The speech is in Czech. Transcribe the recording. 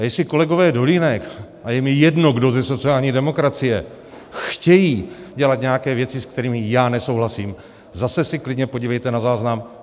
A jestli kolegové Dolínek a je mi jedno, kdo ze sociální demokracie, chtějí dělat nějaké věci, se kterými já nesouhlasím, zase se klidně podívejte na záznam.